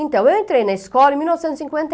Então, eu entrei na escola em mil novecentos